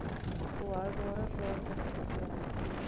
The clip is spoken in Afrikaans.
volhoubare plaaslike regering